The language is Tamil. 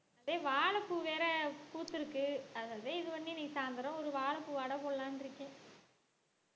ஏய் வாழைப்பூ வேற பூத்திருக்கு அததான் இது பண்ணி இன்னைக்கு சாயந்திரம் ஒரு வாழைப்பூ வடை போடலாம்ன்னு இருக்கேன்